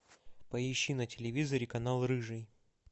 поищи на телевизоре канал рыжий